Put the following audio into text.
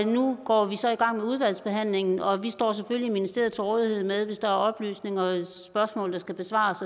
nu går vi så i gang med udvalgsbehandlingen og vi står selvfølgelig i ministeriet til rådighed hvis der er oplysninger og spørgsmål der skal besvares